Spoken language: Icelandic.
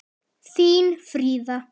Þín Fríða.